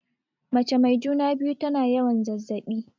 Mace mai juna-biyu tana yawan zazzaɓi.